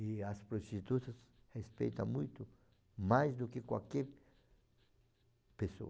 E as prostitutas respeitam muito mais do que qualquer pessoa.